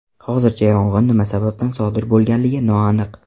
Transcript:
Hozircha yong‘in nima sababdan sodir bo‘lganligi noaniq.